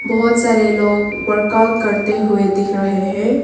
बहोत सारे लोग वर्कआउट करते हुए दिख रहे हैं।